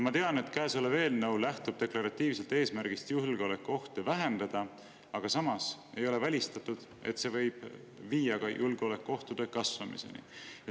Ma tean, et käesolev eelnõu lähtub deklaratiivselt eesmärgist julgeolekuohte vähendada, aga samas ei ole välistatud, et see võib viia ka julgeolekuohtude kasvamiseni.